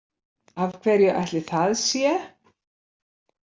Af hverju ætli það sé?